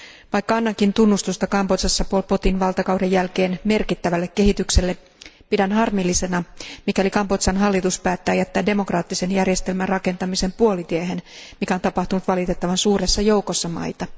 Vaikka annankin tunnustusta Kambodžassa Pol Potin valtakauden jälkeen merkittävälle kehitykselle, pidän harmillisena, mikäli Kambodžan hallitus päättää jättää demokraattisen järjestelmän rakentamisen puolitiehen, mikä on tapahtunut valitettavan suuressa joukossa maita.